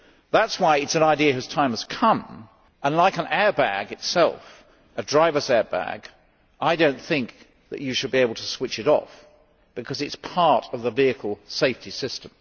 That is why it is an idea whose time has come and like an airbag itself a driver's airbag I do not think that you should be able to switch it off, because it is a part of the vehicle safety system.